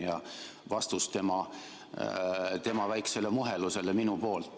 See on minu vastus tema väikesele muhelusele.